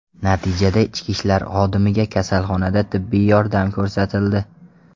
Natijada ichki ishlar xodimiga kasalxonada tibbiy yordam ko‘rsatildi.